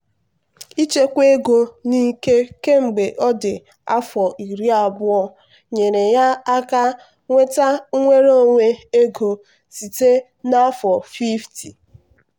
ịchekwa ego n'ike kemgbe ọ dị afọ iri abụọ nyeere ya aka nweta nnwere onwe ego site na afọ 50.